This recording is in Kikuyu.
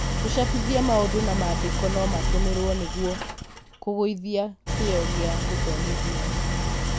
gũcabithia maũndũ na mandĩko no matũmĩrwo nĩgũo kũgũithia kĩo gia gũthomithia.